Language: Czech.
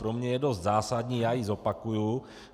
Pro mě je dost zásadní, já ji zopakuji.